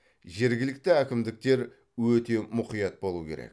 жергілікті әкімдіктер өте мұқият болуы керек